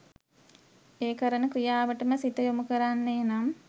ඒ කරන ක්‍රියාවටම සිත යොමු කරන්නේ නම්